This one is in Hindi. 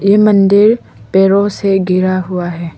ये मंदिर पेड़ो से घिरा हुआ है।